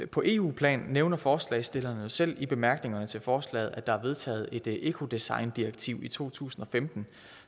på eu plan nævner forslagsstillerne jo selv i bemærkningerne til forslaget at der er vedtaget et ecodesigndirektiv i to tusind og femten